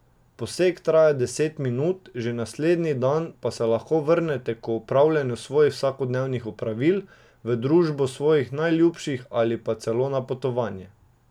Poseg traja deset minut, že naslednji dan pa se lahko vrnete k opravljanju svojih vsakodnevnih opravil, v družbo svojih najljubših ali pa celo na potovanje.